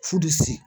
Furusi